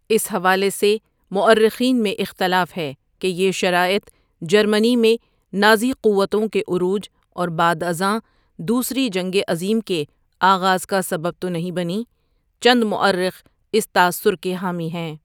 اس حوالے سے مورخین میں اختلاف ہے کہ یہ شرائظ جرمنی میں نازی قوتوں کے عروج اور بعد ازاں دوسری جنگ عظیم کے آغاز کا سبب تو نہیں بنیں چند مورخ اس تاثر کے حامی ہیں ۔